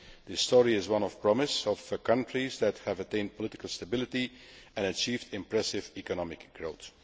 This story is one of promise, of the countries which have attained political stability and achieved impressive economic growth.